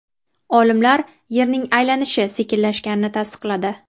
Olimlar Yerning aylanishi sekinlashganini tasdiqladi.